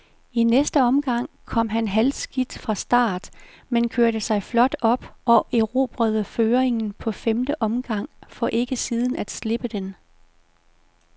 I næste omgang kom han halvskidt fra start, men kørte sig flot op og erobrede føringen på femte omgang, for ikke siden at slippe den.